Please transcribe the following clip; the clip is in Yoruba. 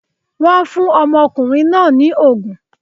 Wọn fún ọmọkùnrin náà ní ògùn